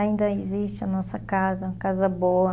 Ainda existe a nossa casa, uma casa boa.